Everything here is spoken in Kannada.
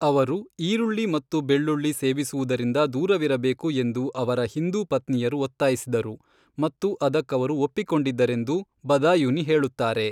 ಅವರು ಈರುಳ್ಳಿ ಮತ್ತು ಬೆಳ್ಳುಳ್ಳಿ ಸೇವಿಸುವುದರಿಂದ ದೂರವಿರಬೇಕು ಎಂದು ಅವರ ಹಿಂದೂ ಪತ್ನಿಯರು ಒತ್ತಾಯಿಸಿದರು ಮತ್ತು ಅದಕ್ಕವರು ಒಪ್ಪಿಕೊಂಡಿದ್ದರೆಂದು ಬದಾಯುನಿ ಹೇಳುತ್ತಾರೆ